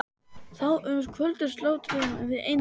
Þá um kvöldið slátruðum við einu nauti.